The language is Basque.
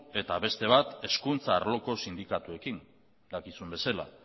eta beste bat hezkuntza arloko sindikatuekin dakizun bezala